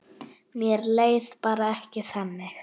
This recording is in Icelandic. Mér leið bara ekki þannig.